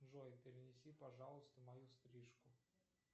джой перенеси пожалуйста мою стрижку